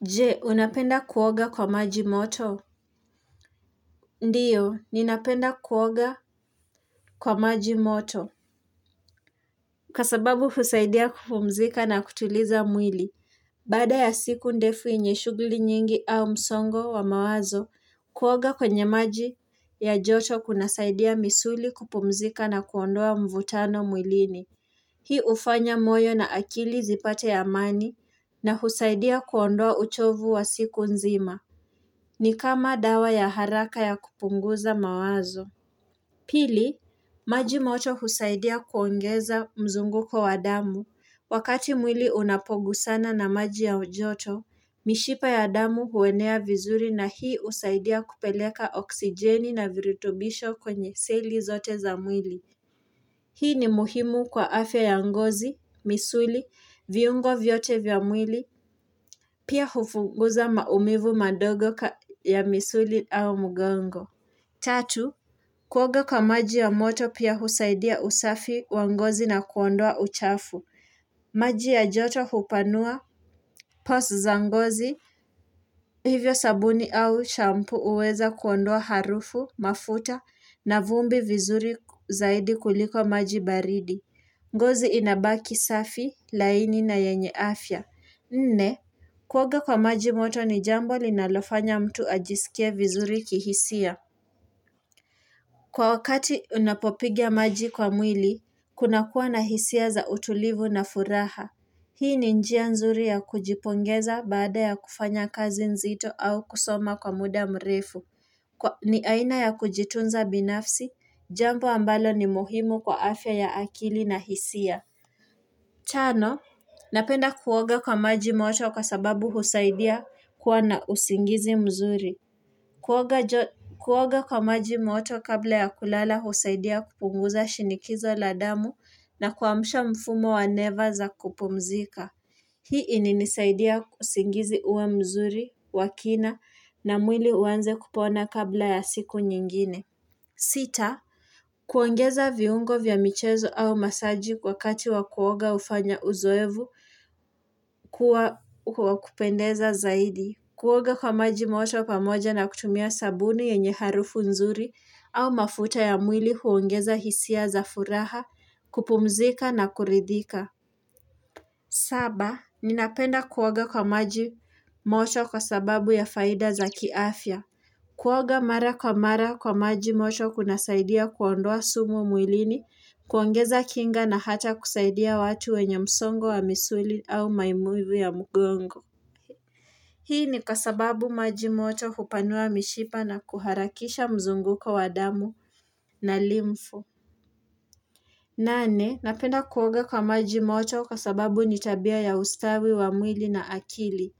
Je, unapenda kuoga kwa maji moto? Ndio, ninapenda kuoga kwa maji moto. Kwa sababu husaidia kupumzika na kutuliza mwili. Baada ya siku ndefu yenye shughuli nyingi au msongo wa mawazo, kuoga kwenye maji ya joto kunasaidia misuli kupumzika na kuondoa mvutano mwilini. Hii hufanya moyo na akili zipate amani na husaidia kuondoa uchovu wa siku nzima. Ni kama dawa ya haraka ya kupunguza mawazo. Pili, maji moto husaidia kuongeza mzunguko wa damu. Wakati mwili unapogusana na maji ya ujoto, mishipa ya damu huenea vizuri na hii husaidia kupeleka oksijeni na virutubisho kwenye seli zote za mwili. Hii ni muhimu kwa afya ya ngozi, misuli, viungo vyote vya mwili, pia hufunguza maumivu madogo ya misuli au mgongo. Tatu, kuoga kwa maji ya moto pia husaidia usafi wa ngozi na kuondoa uchafu. Maji ya joto hupanua, pores za ngozi, hivyo sabuni au shampu huweza kuondoa harufu, mafuta, na vumbi vizuri zaidi kuliko maji baridi. Ngozi inabaki safi, laini na yenye afya Nne, kuoga kwa maji moto ni jambo linalofanya mtu ajisikia vizuri kihisia Kwa wakati unapopiga maji kwa mwili, kunakuwa na hisia za utulivu na furaha Hii ni njia nzuri ya kujipongeza baada ya kufanya kazi nzito au kusoma kwa muda mrefu ni aina ya kujitunza binafsi, jambo ambalo ni muhimu kwa afya ya akili na hisia tano, napenda kuoga kwa maji moto kwa sababu husaidia kuwa na usingizi mzuri. Kuoga kwa maji moto kabla ya kulala husaidia kupunguza shinikizo la damu na kuamsha mfumo wa neva za kupumzika. Hii imenisaidia usingizi huwa mzuri, wa kina na mwili huanza kupona kabla ya siku nyingine. Sita, kuongeza viungo vya michezo au masaji wakati wa kuoga hufanya uzoevu kuwa wa kupendeza zaidi. Kuoga kwa maji moto pamoja na kutumia sabuni yenye harufu nzuri au mafuta ya mwili huongeza hisia za furaha kupumzika na kuridhika. Saba, ninapenda kuoga kwa maji moto kwa sababu ya faida za kiafya. Kuoga mara kwa mara kwa maji moto kunasaidia kuondoa sumu mwilini, kuongeza kinga na hata kusaidia watu wenye msongo wa misuli au maumivu ya mgongo. Hii ni kwa sababu maji moto hupanua mishipa na kuharakisha mzunguko wa damu na limfu. Nane, napenda kuoga kwa maji moto kwa sababu ni tabia ya ustawi wa mwili na akili.